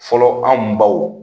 Fɔlɔ anw baw